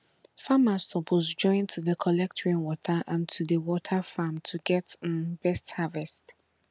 farmers suppose join to dey collect rainwater and to dey water farm to get um better harvest